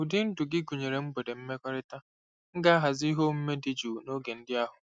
Ụdị ndụ gị gụnyere mgbede mmekọrịta; m ga-ahazi ihe omume dị jụụ n'oge ndị ahụ.